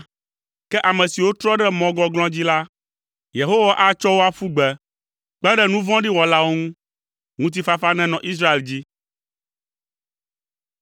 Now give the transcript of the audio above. Ke ame siwo trɔ ɖe mɔ gɔglɔ̃ dzi la, Yehowa atsɔ wo aƒu gbe, kpe ɖe nu vɔ̃ɖi wɔlawo ŋu. Ŋutifafa nenɔ Israel dzi.